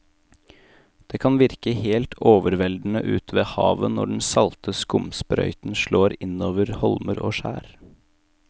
Det kan virke helt overveldende ute ved havet når den salte skumsprøyten slår innover holmer og skjær.